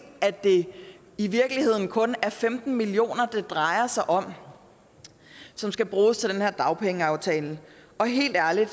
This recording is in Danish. at det i virkeligheden kun er femten million kr det drejer sig om som skal bruges til den her dagpengeaftale og helt ærligt